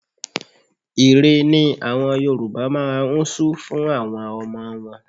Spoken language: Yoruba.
Ìre ni àwọn Yorùbá máa ń su fún àwọn ọmọ wọn.